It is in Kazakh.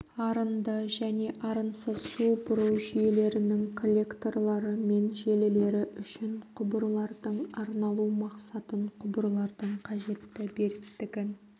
арынды және арынсыз су бұру жүйелерінің коллекторлары мен желілері үшін құбырлардың арналу мақсатын құбырлардың қажетті беріктігін